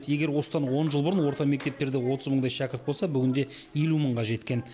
егер осыдан он жыл бұрын орта мектептерде отыз мыңдай шәкірт болса бүгінде елу мыңға жеткен